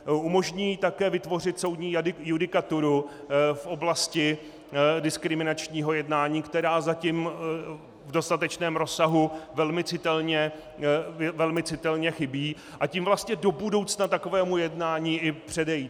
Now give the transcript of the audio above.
Umožní také vytvořit soudní judikaturu v oblasti diskriminačního jednání, která zatím v dostatečném rozsahu velmi citelně chybí, a tím vlastně do budoucna takovému jednání i předejít.